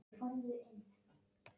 Bjó ég að þeim lærdómum lengi síðan.